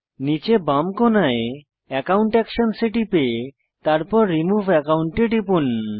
নীচে বাম কোণায় একাউন্ট একশনস এ টিপে তারপর রিমুভ একাউন্ট এ টিপুন